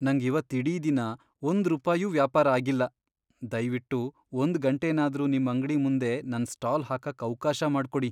ನಂಗ್ ಇವತ್ತ್ ಇಡೀ ದಿನ ಒಂದ್ರೂಪಾಯೂ ವ್ಯಾಪಾರ ಆಗಿಲ್ಲ. ದಯ್ವಿಟ್ಟು ಒಂದ್ ಗಂಟೆನಾದ್ರೂ ನಿಮ್ ಅಂಗ್ಡಿ ಮುಂದೆ ನನ್ ಸ್ಟಾಲ್ ಹಾಕಕ್ ಅವ್ಕಾಶ ಮಾಡ್ಕೊಡಿ.